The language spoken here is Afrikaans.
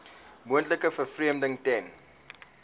moontlike vervreemding ten